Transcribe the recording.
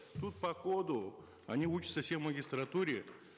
тут по коду они учатся все в магистратуре